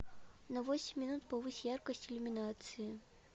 на восемь минут повысь яркость иллюминации